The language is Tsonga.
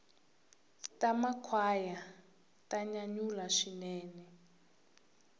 ta makhwaya ta nyanyula swinene